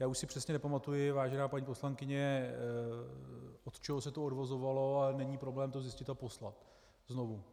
Já už si přesně nepamatuji, vážená paní poslankyně, od čeho se to odvozovalo, ale není problém to zjistit a poslat znovu.